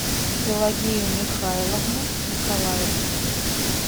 пелагею михайловну николаеву